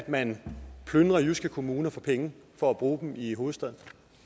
man plyndrer jyske kommuner for penge for at bruge dem i hovedstaden